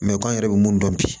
k'an yɛrɛ bɛ mun dɔn bi